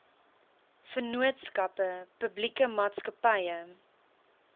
vennootskappe publieke maatskappye